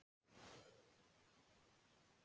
Heimildir og mynd Rafleiðni.